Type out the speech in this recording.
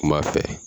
Kuma fɛ